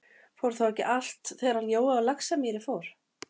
Fór þá ekki allt, þegar hann Jói á Laxamýri fór?